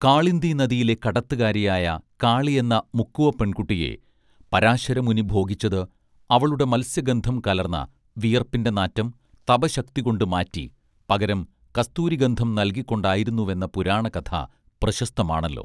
കാളിന്ദിനദിയിലെ കടത്തുകാരിയായ കാളിയെന്ന മുക്കുവപ്പെൺകുട്ടിയെ പരാശരമുനി ഭോഗിച്ചത് അവളുടെ മത്സ്യഗന്ധം കലർന്ന വിയർപ്പിന്റെ നാറ്റം തപശ്ശക്തികൊണ്ട് മാറ്റി പകരം കസ്തൂരിഗന്ധം നൽകിക്കൊണ്ടായിരുന്നുവെന്ന പുരാണകഥ പ്രശസ്തമാണല്ലോ